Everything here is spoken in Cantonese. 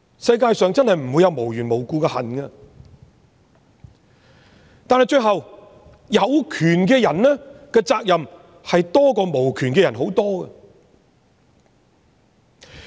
世界上真的不會有無緣無故的恨，但到最後，有權的人的責任，遠比無權的人多。